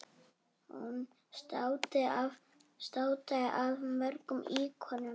Hún státaði af mörgum íkonum.